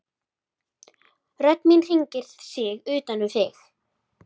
Rödd mín hringar sig utan um þig.